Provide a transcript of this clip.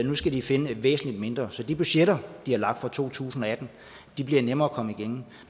nu skal de finde et væsentlig mindre beløb så de budgetter de har lagt for to tusind og atten bliver nemmere